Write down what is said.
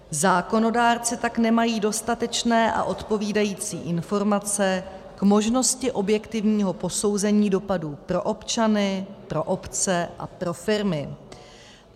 Zákonodárci tak nemají dostatečné a odpovídající informace k možnosti objektivního posouzení dopadů pro občany, pro obce a pro firmy.